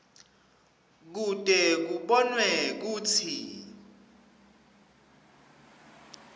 kute kubonwe kutsi